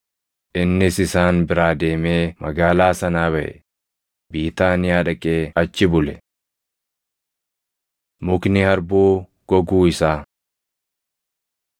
Innis isaan biraa deemee magaalaa sanaa baʼe; Biitaaniyaa dhaqee achi bule. Mukni Harbuu Goguu Isaa 21:18‑22 kwf – Mar 11:12‑14,20‑24